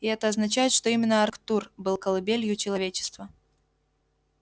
и это означает что именно арктур был колыбелью человечества